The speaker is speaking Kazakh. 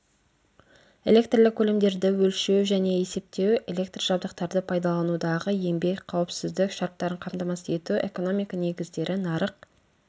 электрлік көлемдерді өлшеу және есептеу электр жабдықтарды пайдаланудағы еңбек қауіпсіздік шарттарын қамтамасыз ету экономика негіздері нарық